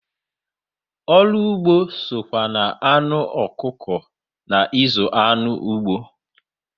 Ọrụ ugbo sokwa na anụ ọkụkọ na ịzụ anụ ụgbọ